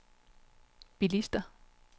bilister